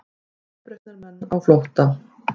Uppreisnarmenn á flótta